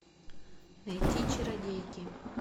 найти чародейки